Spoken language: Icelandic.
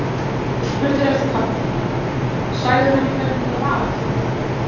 Og spurðirðu eftir pabba þínum. sagðirðu henni hvernig þetta var allt?